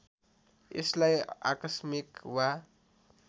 यसलाई आकस्मिक वा